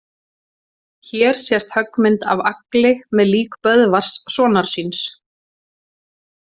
Hér sést höggmynd af Agli með lík Böðvars sonar síns.